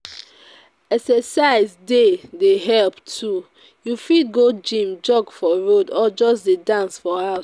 Exercise dey dey help too, you fit go gym, jog for road, or just dey dance for house.